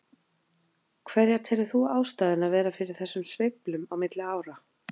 Hverja telur þú ástæðuna vera fyrir þessum sveiflum á milli ára?